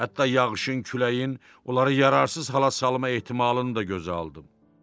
Hətta yağışın, küləyin onları yararsız hala salma ehtimalını da gözə aldım.